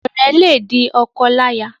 Ọrẹ le di ọkọláya.